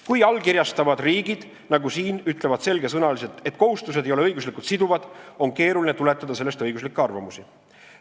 Kui allkirjastavad riigid, nagu siin, ütlevad selgesõnaliselt, et kohustused ei ole õiguslikult siduvad, on keeruline tuletada sellest õiguslikke arvamusi.